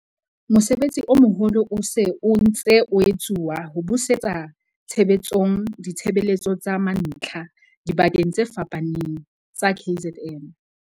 Mosebetsi o moholo o se o ntse o etsuwa ho busetsa tshebetsong ditshebeletso tsa mantlha dibakeng tse fapafapaneng tsa KZN.